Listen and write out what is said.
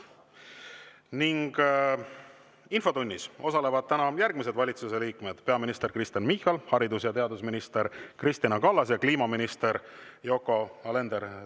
Infotunnis osalevad järgmised valitsuse liikmed: peaminister Kristen Michal, haridus‑ ja teadusminister Kristina Kallas ja kliimaminister Yoko Alender.